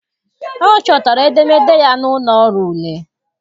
Ọ chọtara edemede ya n'ụlọ ọrụ ule.